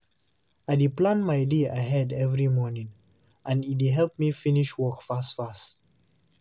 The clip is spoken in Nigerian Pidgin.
I dey plan my day ahead every morning, and e dey help me finish work fast fast.